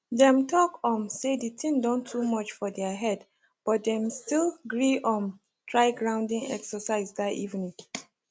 dem talk um say the thing don too much for their head but dem still gree um try grounding exercise that evening